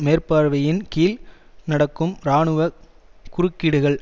மேற்பார்வையின்கீழ் நடக்கும் இராணுவ குறுக்கீடுகள்